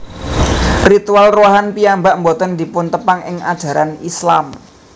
Ritual Ruwahan piyambak boten dipuntepang ing ajaran Islam